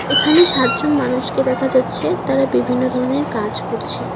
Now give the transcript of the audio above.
এখানে সাত জন মানুষকে দেখা যাচ্ছে তারা বিভিন্ন ধরনের কাজ করছে।